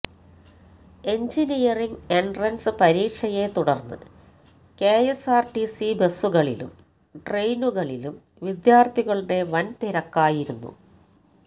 engineering entrance പരീക്ഷയെ തുടര്ന്ന് KSRTC ബസുകളിലും ട്രെയിനുകളിലും വിദ്യാര്ഥികളുടെ വന് തിരക്കായിരുന്നു